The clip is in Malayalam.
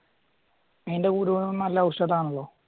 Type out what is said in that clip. അയിൻറ്റെ കുരുവെള്ളം നല്ല ഔഷധം ആണല്ലോ